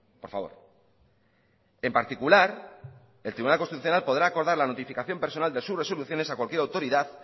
por favor en particular el tribunal constitucional podrá acordar la notificación personal de sus resoluciones a cualquier autoridad